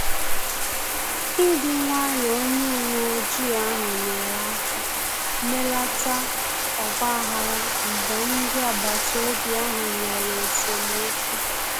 Ịdị nwayọ onye uwe ojii ahụ nyere aka melata ọgba aghara mgbe ndị agbata obi ahụ nwere esemokwu